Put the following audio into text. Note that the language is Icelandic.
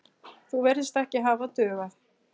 Það virðist ekki hafa dugað.